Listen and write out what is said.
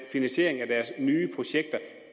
finansieringen af deres nye projekter